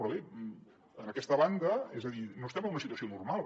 però bé en aquesta banda és a dir no estem en una situació normal